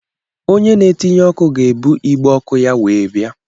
Ònye na-etinye ọkụ ga ebu igbe ọkụ ya wee bia